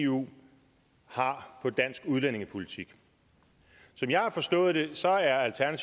eu har for dansk udlændingepolitik som jeg har forstået det